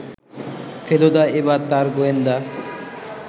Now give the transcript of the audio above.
ফেলুদা এবার তার গোয়েন্দা